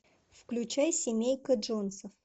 включай семейка джонсов